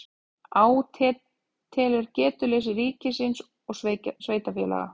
Átelur getuleysi ríkis og sveitarfélaga